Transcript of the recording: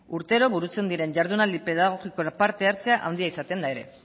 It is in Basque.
urtero burutzen diren jardunaldi pedagogikoan parte hartzea handia izaten da ere